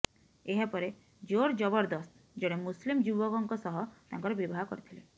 ଏହାପରେ ଜୋରଜବରଦସ୍ତ ଜଣେ ମୁସଲିମ୍ ଯୁବକଙ୍କ ସହ ତାଙ୍କର ବିବାହ କରିଥିଲେ